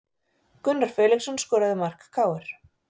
Gunnar Felixson skoraði mark KR